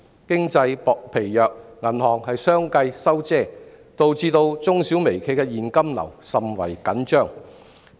經濟疲弱，銀行相繼"收遮"，導致中小微企的現金流甚為緊張。